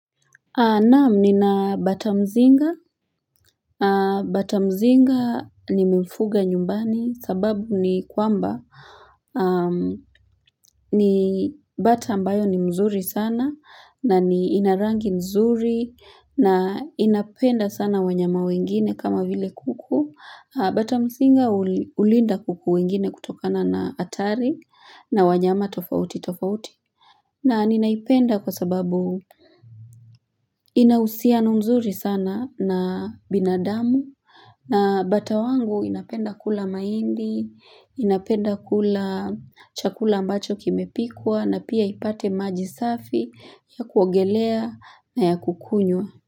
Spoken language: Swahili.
Naam nina batamzinga, batamzinga nimfuga nyumbani sababu ni kwamba ni bata ambayo ni mzuri sana na ina rangi mzuri na inapenda sana wanyama wengine kama vile kuku batamzinga hulinda kuku wengine kutokana na hatari na wanyama tofauti tofauti na ninaipenda kwa sababu, ina uhusiano mzuri sana na binadamu na batawangu inapenda kula mahindi, inapenda kula chakula ambacho kimepikwa na pia ipate maji safi ya kuogelea na ya kukunywa.